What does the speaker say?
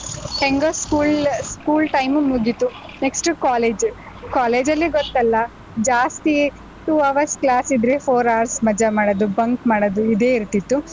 ಹೆಂಗೋ school school time ಮುಗೀತು, next college college ಅಲ್ಲಿ ಗೊತ್ತಲ್ಲ ಜಾಸ್ತಿ two hours class ಇದ್ರೆ four hours ಮಜಾ ಮಾಡೋದು, bunk ಮಾಡೋದು ಇದೇ ಇರ್ತಿತ್ತು.